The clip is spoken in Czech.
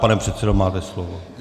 Pane předsedo, máte slovo.